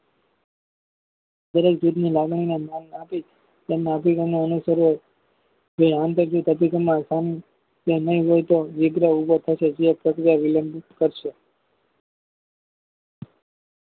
દરેક જૂથની લાગણી ને ન્યાય આપી તેમના અભિગમો અનુસરે જોઈએ આંતર શુદ્ધ અભિગમના કામ કે નય હોય તો વિગ્રહ ઉભો થશે જે પ્રક્રિયા વિલંબિત કરશે.